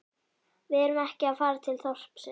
Við erum ekki að fara til þorpsins